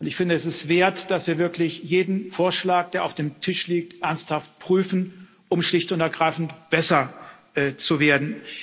Ich finde, es ist es wert, dass wir wirklich jeden Vorschlag, der auf dem Tisch liegt, ernsthaft prüfen, um schlicht und ergreifend besser zu werden.